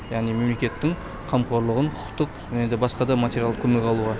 яғни мемлекеттің қамқорлығын құқықтық және де басқа да материалдық көмек алуға